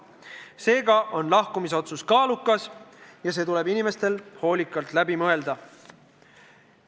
Seega on lahkumisotsus kaalukas ja see tuleb inimestel hoolikalt läbi mõelda.